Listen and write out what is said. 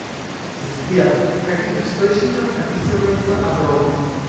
сбер в каких источниках описывается адроны